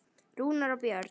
Rúnar og Björn.